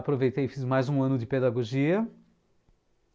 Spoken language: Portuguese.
Aproveitei e fiz mais um ano de pedagogia.